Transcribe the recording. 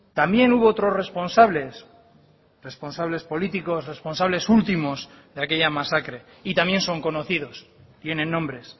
también hubo otros responsables responsables políticos responsables últimos de aquella masacre y también son conocidos tienen nombres